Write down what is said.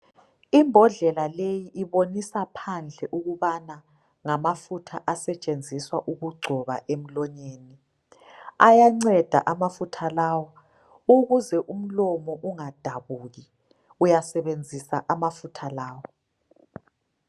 Imbodlela leyi ibonisa phandle ukubana ngamafutha asetshenziswa ukungcoba emlonyeni ayanceda amafutha lawa ukuze umlomo ungadabuki uyasebenzisa amafutha lawa.